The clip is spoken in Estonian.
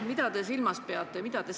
Mida te silmas peate?